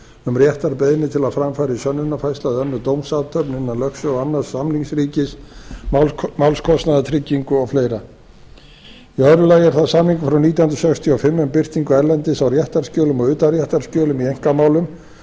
um réttarbeiðni til að fram fari sönnunarfærsla eða önnur dómsathöfn innan lögsögu annars samningsríkis málskostnaðartryggingu og fleira í öðru lagi er þá samningur frá nítján hundruð sextíu og fimm um birtingu erlendis á réttarskjölum og utanréttarskjölum í einkamálum